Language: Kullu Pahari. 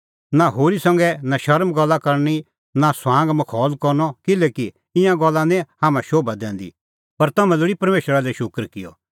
नां होरी संघै नशर्म गल्ला करनी नां ठठै मखौल करनअ किल्हैकि ईंयां गल्ला निं हाम्हां शोभा दैंदी पर तम्हैं लोल़ी परमेशरा लै शूकर किअ